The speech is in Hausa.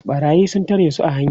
ɓarayi sun tare su a hanya